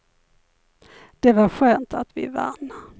Det var skönt att vi vann.